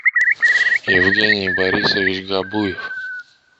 евгений борисович габуев